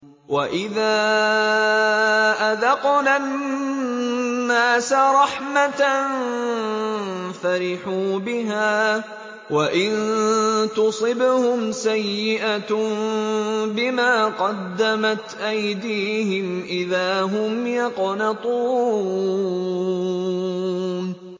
وَإِذَا أَذَقْنَا النَّاسَ رَحْمَةً فَرِحُوا بِهَا ۖ وَإِن تُصِبْهُمْ سَيِّئَةٌ بِمَا قَدَّمَتْ أَيْدِيهِمْ إِذَا هُمْ يَقْنَطُونَ